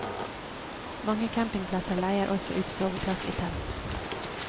Mange campingplasser leier også ut soveplass i telt.